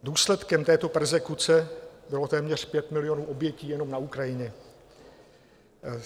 Důsledkem této perzekuce bylo téměř 5 milionů obětí jenom na Ukrajině.